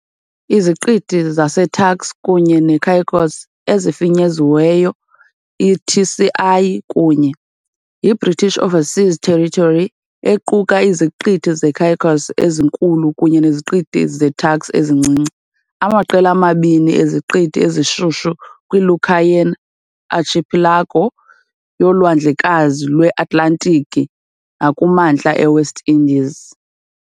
Iziqithi zaseTurks kunye neCaicos, efinyeziweyo iTCI, kunye, yiBritish Overseas Territory equka iZiqithi zeCaicos ezinkulu kunye neZiqithi zeTurks ezincinci, amaqela amabini eziqithi ezishushu kwiLucayan Archipelago yoLwandlekazi lweAtlantiki nakumantla eWest Indies .